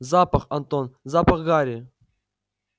запах антон запах гари